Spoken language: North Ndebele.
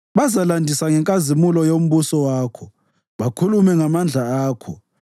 Bazalandisa ngenkazimulo yombuso wakho bakhulume ngamandla akho,